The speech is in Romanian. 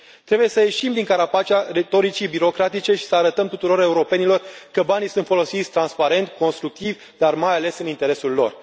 Trebuie să ieșim din carapacea retoricii birocratice și să arătăm tuturor europenilor că banii sunt folosiți transparent, constructiv dar, mai ales, în interesul lor.